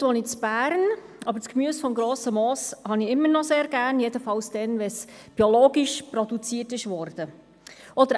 Heute wohne ich in Bern, aber das Gemüse vom Grossen Moos habe ich immer noch sehr gern – jedenfalls dann, wenn es biologisch produziert worden ist.